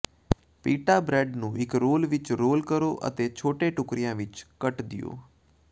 Peetha bread ਨੂੰ ਇੱਕ roll ਵਿੱਚ ਰੋਲ ਕਰੋ ਅਤੇ ਛੋਟੇ ਟੁਕੜਿਆਂ ਵਿੱਚ ਕੱਟ ਦਿਓ